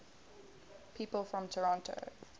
people from toronto